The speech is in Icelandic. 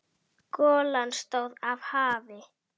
Golan stóð af hafi.